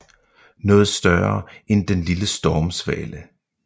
Noget større end den lille stormsvale